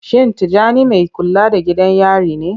Shin Tijjani mai kula da gidan yari ne?